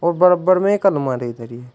और बराबर में एक अलमारी धरी है।